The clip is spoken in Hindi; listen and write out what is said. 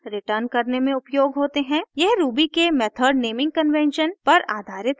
यह ruby के method naming convention naming convention पर आधारित है